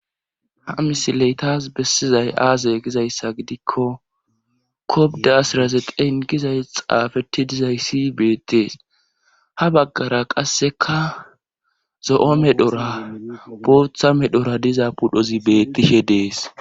ha misileytas bessizay aaze gizayssa gidikko kobdasiraze den gizay xaafeti dizayssi beettees ha baggara qasseka zo7o medhora bootha medhora diza pudhozi bettishe dees